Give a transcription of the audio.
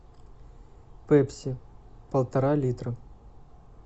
пепси полтора литра